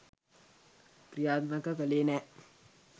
ක්‍රියාත්මක කළේ නෑ